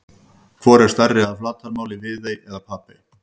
Hvor er stærri að flatarmáli, Viðey eða Papey?